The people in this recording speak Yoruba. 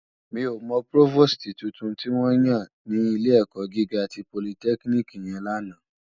Mi ó mò prófóstì tútún tiwòn yán si ilé èkò gigá ti pólìtèkínìkí yèn làná